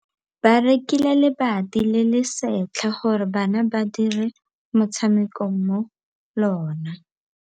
Ba rekile lebati le le setlha gore bana ba dire motshameko mo go lona.